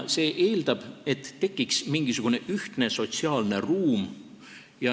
See eeldab, et tekiks mingisugune ühtne sotsiaalne ruum.